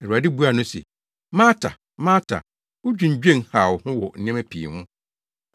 Awurade buaa no se, “Marta, Marta, wudwinnwen haw wo ho wɔ nneɛma pii ho.